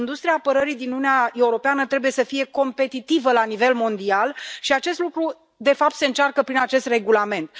Industria apărării din Uniunea Europeană trebuie să fie competitivă la nivel mondial și acest lucru, de fapt, se încearcă prin acest regulament.